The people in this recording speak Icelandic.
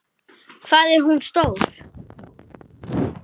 Hvað er hún stór?